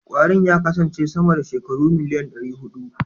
Kwarin ya kasance sama da shekaru miliyan ɗari huɗu.